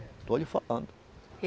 Estou lhe falando.